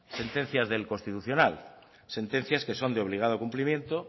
sentencias del constitucional sentencias que son de obligado cumplimiento